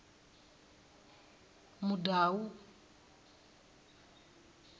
mudau